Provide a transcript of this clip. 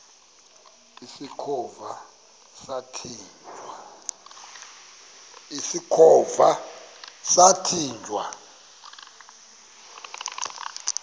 usikhova yathinjw a